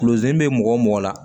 Kulozi be mɔgɔ mɔgɔ la